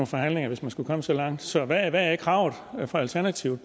forhandlinger hvis man skulle komme så langt så hvad er kravet fra alternativet